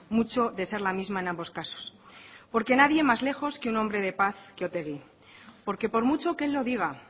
mucho de ser la misma en ambos casos porque nadie más lejos que un hombre de paz que otegi porque por mucho que él lo diga